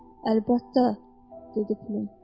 Əlbəttə, dedi Pülüm.